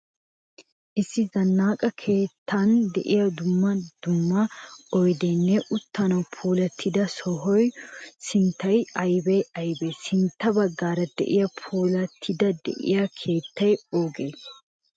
Issi zannaqa keettan de'iya dumma dumma oyideenne uuttan puulattida sohuwa sunttay aybee aybee? Sintta baggaara diya puulattidi diya keettay oogee?